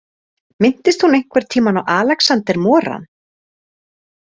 Minntist hún einhvern tímann á Alexander Moran?